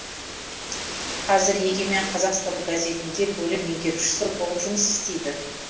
қазір егемен қазақстан газетінде бөлім меңгерушісі болып жұмыс істейді